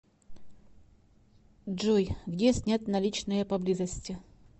джой где снять наличные поблизости